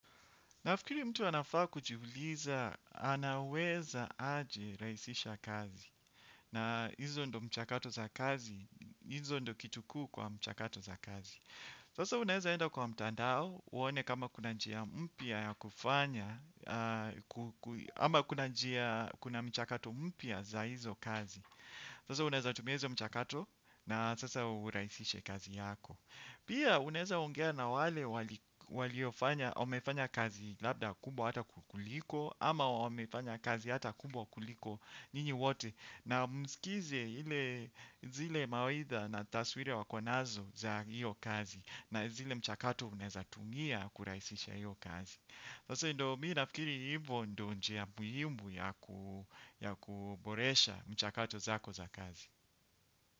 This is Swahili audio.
Nafikiri mtu anafaa kujiuliza, anaweza aje rahisisha kazi. Na hizo ndio mchakato za kazi, hizo ndio kitu kuu kwa mchakato za kazi. Sasa unaeza enda kwa mtandao, uone kama kuna njia mpya ya kufanya, ama kuna mchakato mpia za hizo kazi. Sasa unaeza tumia hizo mchakato na sasa urahisishe kazi yako. Pia unaeza ongea na wale walio wamefanya kazi labda kubwa hata kukuliko ama wamefanya kazi hata kubwa kuliko nyinyi wote na msikize zile mawaidha na taswira wako nazo za hiyo kazi na zile mchakato unaeza tumia kurahisisha hiyo kazi. Mimi nafikiri hivo ndio njia muhimu ya kuboresha mchakato zako za kazi.